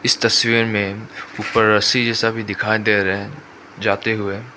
इस तस्वीर में ऊपर रस्सी जैसा भी दिखाई दे रहा है जाते हुए।